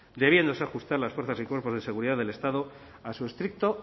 debiéndose ajustar las fuerzas y cuerpos de seguridad del estado a su estricto